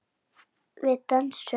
Líkt og fram liðin sál.